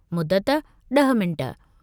मुदत: – 10 मिंट